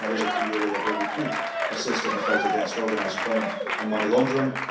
I think there is a key area where we could assist in the fight against organised crime and money laundering.